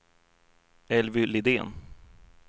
Elvy Lidén